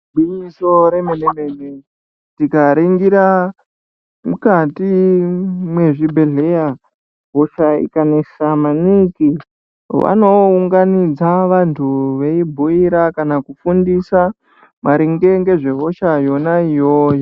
Gwinyiso remene mene tikaringira mukati mwezvibhehleya, hosha ikanesa maningi, vanounganidza vantu veibhuira kana kufundisa maringe ngehosha yona iyoyo.